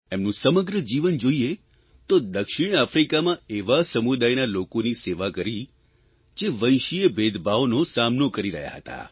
એમનું સમગ્ર જીવન જોઇએ તો દક્ષિણ આફ્રિકામાં એવા સમુદાયના લોકોની સેવા કરી જે વંશીય ભેદભાવનો સામનો કરી રહ્યા હતા